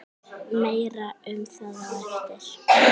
Meira um það á eftir.